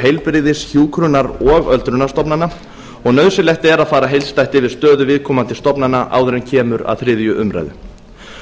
heilbrigðis hjúkrunar og öldrunarstofnana nauðsynlegt er að fara heildstætt yfir stöðu viðkomandi stofnana áður en kemur að þriðju umræðu